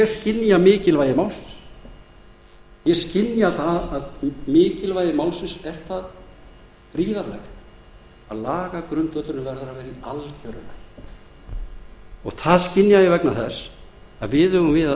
skynja mikilvægi málsins ég skynja að mikilvægi málsins er það gríðarlegt að lagagrundvöllurinn verður að vera í algjöru lagi það skynja ég vegna þess að við eigum við að